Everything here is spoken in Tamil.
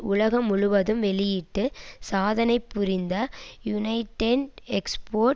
உலகம் முழுவதும் வெளியிட்டு சாதனை புரிந்த யுனைடெட் எக்ஸ்போர்ட்